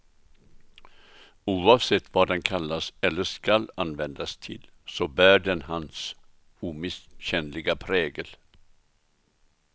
Oavsett vad den kallas eller skall användas till, så bär den hans omisskännliga prägel.